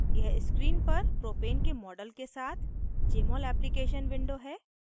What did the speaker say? यह screen पर propane के model के साथ jmol application window है